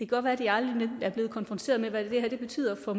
godt være at de aldrig er blevet konfronteret med hvad det her betyder for